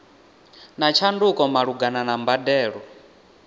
na tshanduko malugana na mbadelo